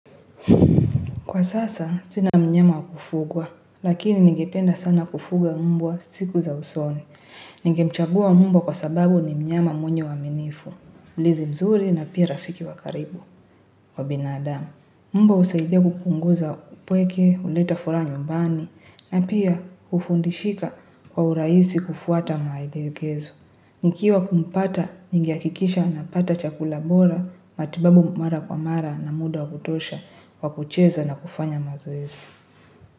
Kwa sasa, sina mnyama wakufugwa, lakini ngependa sana kufuga mbwa siku za usoni. Ningemchagua mbwa kwa sababu ni mnyama mwenye waminifu, mlinzi mzuri na pia rafiki wakaribu wa binadamu. Mba usaidia kukunguza upweke, uleta fura nyumbani, na pia ufundishika kwa uraisi kufuata maelekezu. Nikiwa kumpata, ningeakikisha anapata chakula bora, matibabu mara kwa mara na muda kutosha kwa kucheza na kufanya mazoezi.